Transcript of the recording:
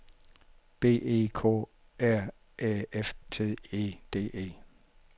B E K R Æ F T E D E